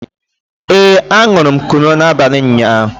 ee, añụrụ m kunu n'abalị ụnyaahụ